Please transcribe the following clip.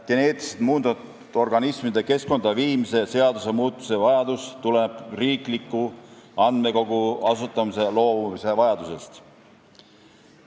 Geneetiliselt muundatud organismide keskkonda viimise seaduse muutmise vajadus tuleneb riikliku andmekogu asutamisest loobumise vajadusest.